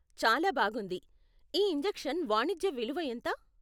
చాలా బాగుంది! ఈ ఇంజెక్షన్ వాణిజ్య విలువ ఎంత?